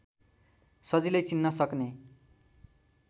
सजिलै चिन्न सक्ने